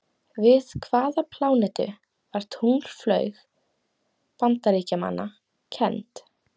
Við hvaða plánetu var tunglflaug Bandaríkjamanna kennd?